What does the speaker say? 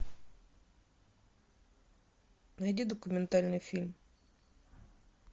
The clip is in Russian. найди документальный фильм